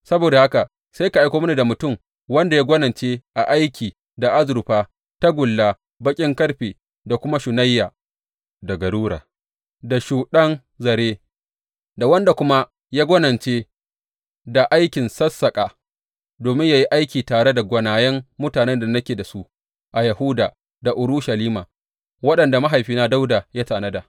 Saboda haka sai ka aiko mini da mutum wanda ya gwanince a aiki da azurfa, tagulla, baƙin ƙarfe, da kuma shunayya, da garura, da shuɗɗan zare, da wanda kuma ya gwanince da aikin sassaƙa, domin yă yi aiki tare da gwanayen mutane da nake da su a Yahuda da Urushalima, waɗanda mahaifina Dawuda ya tanada.